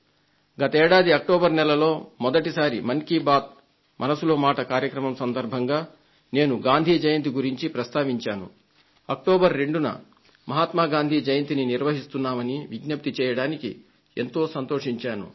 గత ఏడాది అక్టోబర్ నెలలో మొదటిసారి మన్ కీ బాత్ మనసులో మాట కార్యక్రమం సందర్భంగా నేను గాంధీ జయంతిని గురించి ప్రస్తావించాను అక్టోబర్ 2న మహాత్మ గాంధీ జయంతిని నిర్వహిస్తున్నామని విజ్ఞప్తి చేయడానికి ఎంతో సంతోషించాను